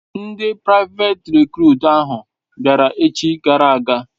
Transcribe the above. Ndi privet recrut ahu biara echi gara aga